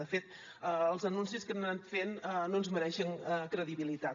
de fet els anuncis que han anat fent no ens mereixen credibilitat